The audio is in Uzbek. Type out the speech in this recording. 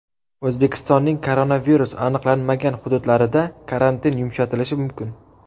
O‘zbekistonning koronavirus aniqlanmagan hududlarida karantin yumshatilishi mumkin.